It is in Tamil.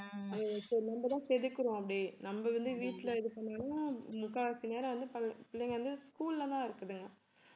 அஹ் இப்ப நம்ம தான் செதுக்கறோம் அப்படியே நம்ம வந்து வீட்டுல இது பண்ணாலும் முக்காவாசி நேரம் வந்து ப~ பிள்ளைங்க வந்து school ல தான் இருக்குதுங்க